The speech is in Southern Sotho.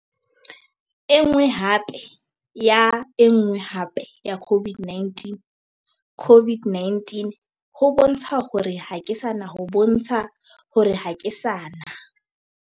Enngwe hape ya enngwe hape ya COVID-19. COVID-19 ho bontsha hore ha ke sana ho bontsha hore ha ke sana.